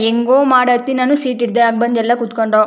ಹೆಂಗೋ ಮಾಡುತ್ತ ನಾನು ಸೀಟ್ ಹಿಡ್ದೆ ಆಗ ಎಲ್ಲ ಬಂದು ಕೂತುಕೊಂಡ್ರು.